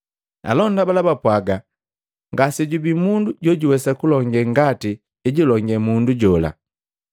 Alonda bala bapwaga, “Ngasejubii mundu jojuwesa kulonge ngati ejulonge mundu jola!”